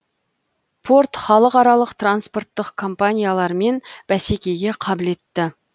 порт халықаралық транспорттық компаниялармен бәсекеге қабілетті